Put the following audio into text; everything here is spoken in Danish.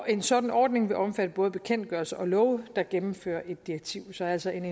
en sådan ordning vil omfatte både bekendtgørelser og love der gennemfører et direktiv så altså en